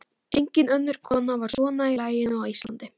Engin önnur kona var svona í laginu á Íslandi.